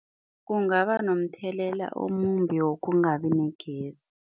Kungaba nomthelela omumbi wokungabi negezi.